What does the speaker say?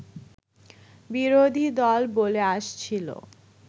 বিরোধীদল বলে আসছিল